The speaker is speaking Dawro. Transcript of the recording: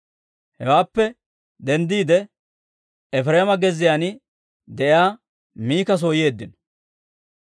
Hewaappe denddiide, Efireema gezziyaan de'iyaa Mika soo yeeddino.